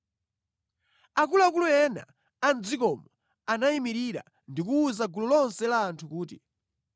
Akuluakulu ena a mʼdzikomo anayimirira ndi kuwuza gulu lonse la anthu kuti,